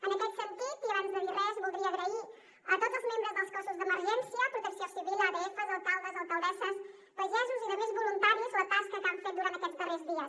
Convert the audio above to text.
en aquest sentit i abans de dir res voldria agrair a tots els membres dels cossos d’emergència protecció civil adfs alcaldes alcaldesses pagesos i altres voluntaris la tasca que han fet durant aquests darrers dies